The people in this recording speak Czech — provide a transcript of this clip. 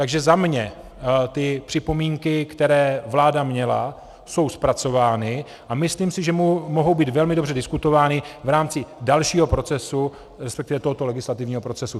Takže za mě ty připomínky, které vláda měla, jsou zpracovány a myslím si, že mohou být velmi dobře diskutovány v rámci dalšího procesu, respektive tohoto legislativního procesu.